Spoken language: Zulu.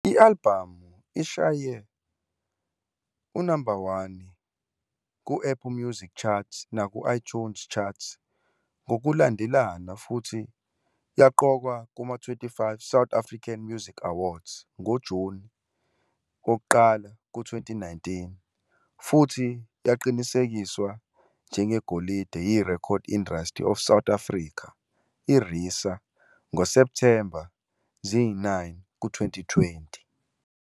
I-albhamu ishaye unamba 1 ku-Apple Music Chart naku-iTunes Chart ngokulandelana futhi yaqokwa kuma- 25th South African Music Awards ngoJuni 1, 2019, futhi yaqinisekiswa njengegolide yiRecording Industry of South Africa, RISA, ngoSepthemba 9, 2020.